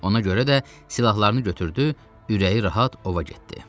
Ona görə də silahlarını götürdü, ürəyi rahat ova getdi.